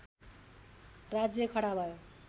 राज्य खडा भयो